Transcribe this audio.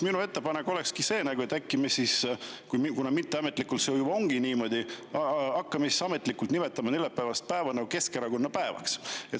Minu ettepanek ongi see, et kuna mitteametlikult see juba ongi niimoodi, äkki me hakkame ka ametlikult nimetama neljapäevast päeva Keskerakonna päevaks.